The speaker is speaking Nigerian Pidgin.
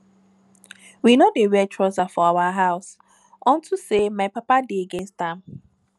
we no dey wear trouser for our house unto say my papa dey against am